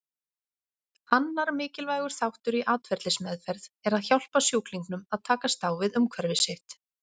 Annar mikilvægur þáttur í atferlismeðferð er að hjálpa sjúklingnum að takast á við umhverfi sitt.